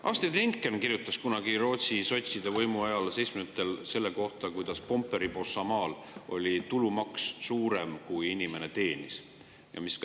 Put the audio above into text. Astrid Lindgren kirjutas kunagi Rootsis sotside võimu ajal, 1970‑ndatel, kuidas Pomperipossa maal oli tulumaks suurem kui inimese teenistus.